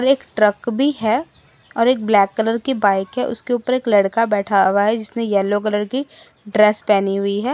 एक ट्रक भी है और एक ब्लैक कलर की बाइक है उसके ऊपर एक लड़का बैठा हुआ है जिसने येलो कलर की ड्रेस पहनी हुई है।